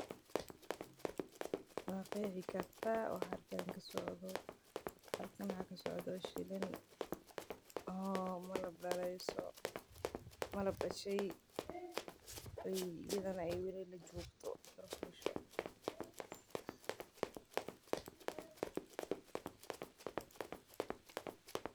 Ma qeexi kartaa waxa halkan kasocdo waxa kasocdaa shini malab dashe.